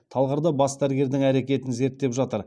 талғарда бас дәрігердің әрекетін зерттеп жатыр